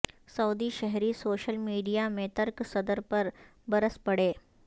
سعودی شہری social media میں ترک صدر پر برس پڑے